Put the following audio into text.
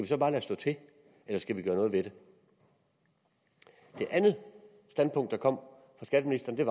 så bare lade stå til eller skal vi gøre noget ved det det andet standpunkt der kom fra skatteministeren var